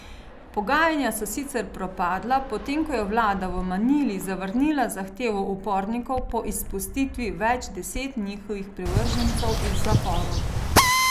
Pogajanja so sicer propadla, potem ko je vlada v Manili zavrnila zahtevo upornikov po izpustitvi več deset njihovih privržencev iz zaporov.